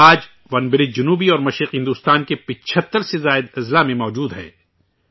آج ، ونبرج جنوبی اور مشرقی بھارت کے 75 سے بھی زیادہ اضلاع میں موجود ہیں